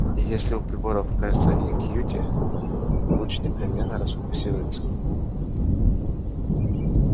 и если у приборов окажется один кьюти луч непременно расфокусируется